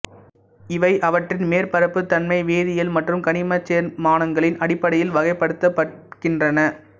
இவை அவற்றின் மேற்பரப்புத் தன்மை வேதியியல் மற்றும் கனிமச் சேர்மானங்களின் அடிப்படையில் வகைப்படுத்தப்படுகின்றன